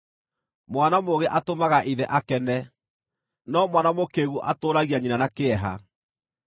Mwana mũũgĩ atũmaga ithe akene, no mwana mũkĩĩgu atũũragia nyina na kĩeha.